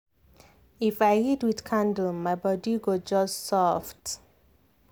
if i read with candle my body go just soft.